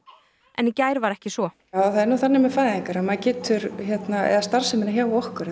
en í gær var ekki svo það er nú þannig með fæðingar eða starfsemina hjá okkur